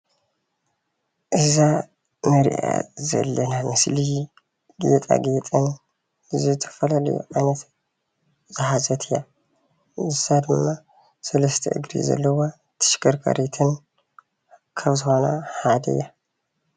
እዛ እንሪኣ ዘለና ኣብ ምስሊ ጌጣጌጥን ዝተፈላለዩ ዓይነት ዝሓዘት እያ፡፡ ንሳ ድማ ሰላስተ እግሪ ዘለዋ ተሽከርካሪትን ካብ ዝኮነ ሓደ እያ ፡፡